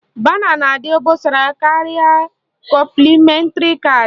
Bana na-adị obosara karịa kọmplịmentri caadị